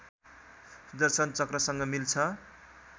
सुदर्शन चक्रसँग मिल्छ